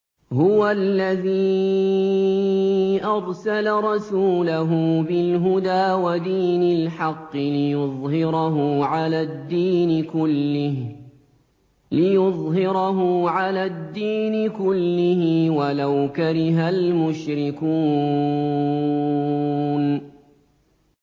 هُوَ الَّذِي أَرْسَلَ رَسُولَهُ بِالْهُدَىٰ وَدِينِ الْحَقِّ لِيُظْهِرَهُ عَلَى الدِّينِ كُلِّهِ وَلَوْ كَرِهَ الْمُشْرِكُونَ